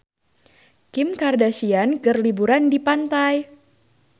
Kim Kardashian keur liburan di pantai